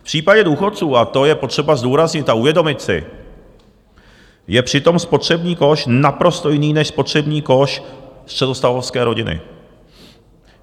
V případě důchodců, a to je potřeba zdůraznit a uvědomit si, je přitom spotřební koš naprosto jiný než spotřební koš středostavovské rodiny.